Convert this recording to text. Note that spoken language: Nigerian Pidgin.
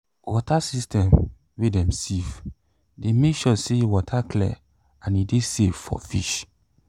water system wey dem sieve de make sure say water clear and e de safe for fish